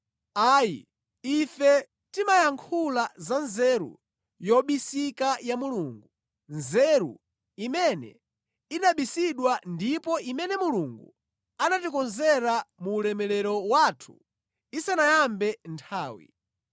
Ayi, ife timayankhula za nzeru yobisika ya Mulungu, nzeru imene inabisidwa ndipo imene Mulungu anatikonzera mu ulemerero wathu isanayambe nthawi.